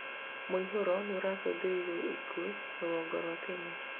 mũihuro nĩũracũngĩrĩirie ikuũ rũgongo rwa Kenya